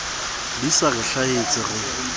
di sa re hlahele re